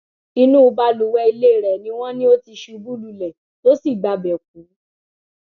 inú balùwẹ ilé rẹ ni wọn ní ó ti ṣubú lulẹ tó sì gbabẹ kú